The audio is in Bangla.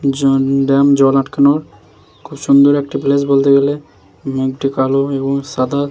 জান ড্যাম জল আটকানোর খুব সুন্দর একটি প্লেস বলতে গেলে মেঘটি কালো এবং সাদা।